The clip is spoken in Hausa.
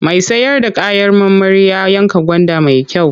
Mai sayar da kayan marmari ya yanka gwanda mai kyau.